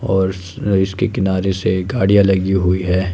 और इस इसके किनारे से गाड़ियां लगी हुई है।